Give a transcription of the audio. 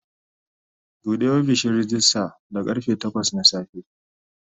Bude ofishin rejista da karfe takwas na safe.